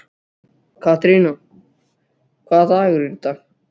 Katerína, hvaða dagur er í dag?